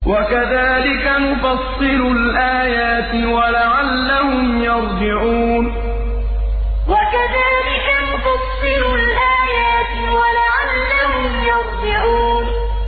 وَكَذَٰلِكَ نُفَصِّلُ الْآيَاتِ وَلَعَلَّهُمْ يَرْجِعُونَ وَكَذَٰلِكَ نُفَصِّلُ الْآيَاتِ وَلَعَلَّهُمْ يَرْجِعُونَ